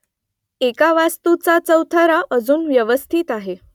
एका वास्तूचा चौथरा अजून व्यवस्थित आहे